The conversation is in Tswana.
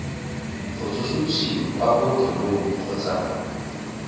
go tsosolosiwa kwa bookelong kgotsa